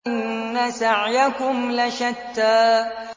إِنَّ سَعْيَكُمْ لَشَتَّىٰ